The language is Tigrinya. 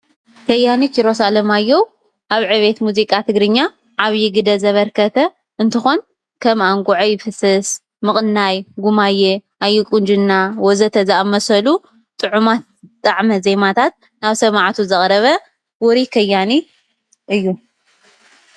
ከያኒ ኪሮስ ኣለማዮህ ኣብ ዕቤት ትግርኛ ሙዚቃ ዓብይ ግደ ዘበርከተ እትኾን ከም ኣንጎዐይ ፍስስ ፣ ምቅናይ፣ ጉማየ፣ ኣየቁንጀና ወዘተ...ዝብሉ ጥዑማት ጣዓመ ዘሜታት ናብ ሰማዓቱ ዘቕረበ እንትኾን ዉሩ ከያኒ እዩ።